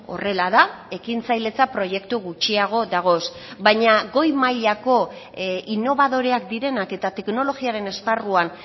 horrela da ekintzailetza proiektu gutxiago dagoz baina goi mailako inobadoreak direnak eta teknologiaren esparruan